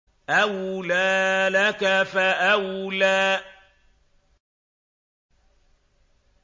أَوْلَىٰ لَكَ فَأَوْلَىٰ